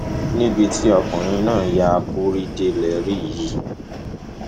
níbi tí ọkùnrin náà ya akúrí dé lè rí yìí